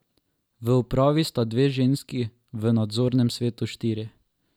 V upravi sta dve ženski, v nadzornem svetu štiri.